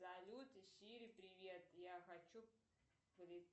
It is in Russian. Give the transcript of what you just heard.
салют сири привет я хочу